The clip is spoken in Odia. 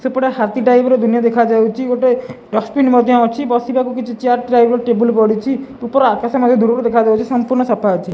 ସେ ପୁରା ହାତୀ ଟାଇପ୍ ର ଦୁନିଆ ଦେଖାଯାଉଛି ଗୋଟେ ଡଷ୍ଟବିନ ମଧ୍ୟ ଅଛି ବସିବାକୁ କିଛି ଚେୟାର ଟାଇପ୍ ର ଟେବୁଲ ପଡ଼ିଛି ଉପରେ ଆକାଶ ଦୂରରୁ ଦେଖାଯାଉଛି ସମ୍ପୂର୍ଣ୍ଣ ସଫା ଅଛି।